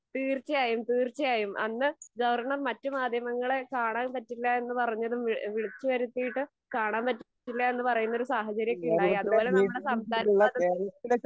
തീർച്ചയായും തീർച്ചയായും. അന്ന് ഗവർണർ മറ്റു മാധ്യമങ്ങളെ കാണാൻ പറ്റില്ല എന്ന് പറഞ്ഞതും വിളിച്ചു വരുത്തിയിട്ട് കാണാൻ പറ്റില്ല എന്ന പറയുന്ന ഒരു സാഹചര്യം ഒക്കെ ഉണ്ടായി. അതുപോലെ നമ്മുടെ സംസാര സ്വാതന്ത്ര്യത്തിന്